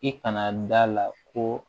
I kana da la ko